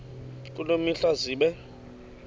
kule mihla zibe